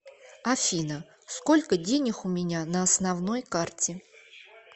афина сколько денег у меня на основной карте